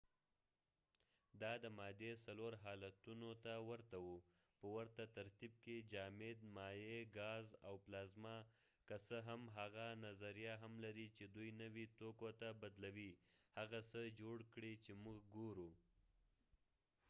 دا د مادې څلور حالتونو ته ورته وه په ورته ترتیب کې: جامد، مایع، ګاز، او پلازما، که څه هم هغه نظریه هم لري چې دوی نوي توکو ته بدلوي هغه څه جوړ کړئ چې موږ ګورو